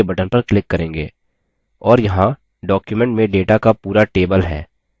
और यहाँ document में data का पूरा table है